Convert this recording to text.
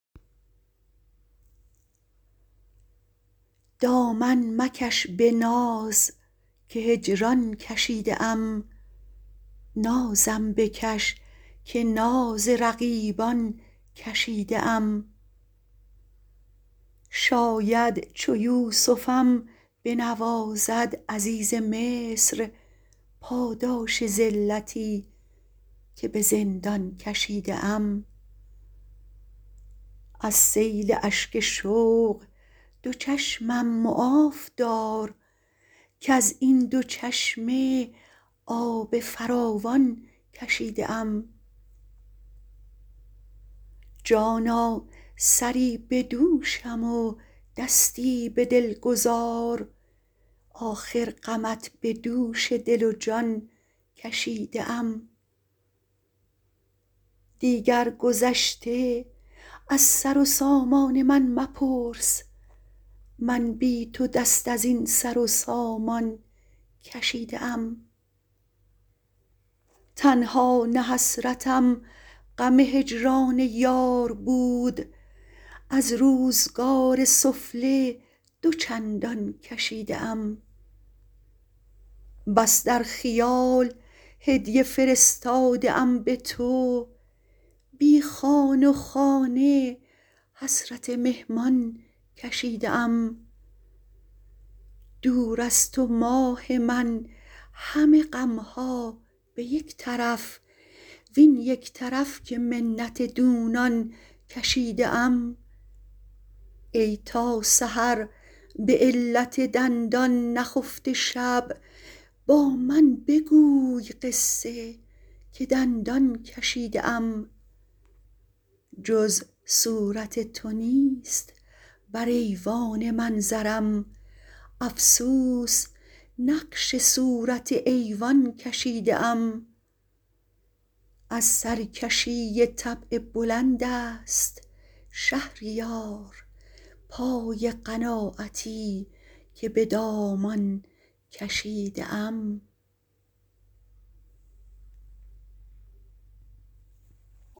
دامن مکش به ناز که هجران کشیده ام نازم بکش که ناز رقیبان کشیده ام شاید چو یوسفم بنوازد عزیز مصر پاداش ذلتی که به زندان کشیده ام از سیل اشک شوق دو چشمم معاف دار کز این دو چشمه آب فراوان کشیده ام جانا سری به دوشم و دستی به دل گذار آخر غمت به دوش دل و جان کشیده ام دیگر گذشته از سر و سامان من مپرس من بی تو دست از این سر و سامان کشیده ام تنها نه حسرتم غم هجران یار بود از روزگار سفله دو چندان کشیده ام بس در خیال هدیه فرستاده ام به تو بی خوان و خانه حسرت مهمان کشیده ام دور از تو ماه من همه غم ها به یک طرف وین یک طرف که منت دونان کشیده ام ای تا سحر به علت دندان نخفته شب با من بگوی قصه که دندان کشیده ام جز صورت تو نیست بر ایوان منظرم افسوس نقش صورت ایوان کشیده ام از سرکشی طبع بلند است شهریار پای قناعتی که به دامان کشیده ام